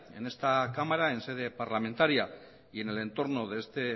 en esta cámara en sede parlamentaria y en el entorno de este